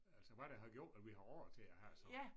Altså hvad der har gjort at vi har råd til at have sådan